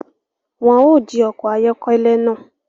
Wọn ò jí ọkọ ayọkẹlẹ náà